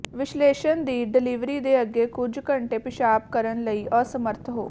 ਵਿਸ਼ਲੇਸ਼ਣ ਦੀ ਡਿਲਿਵਰੀ ਦੇ ਅੱਗੇ ਕੁਝ ਘੰਟੇ ਪਿਸ਼ਾਬ ਕਰਨ ਵਿੱਚ ਅਸਮਰੱਥ ਹੋ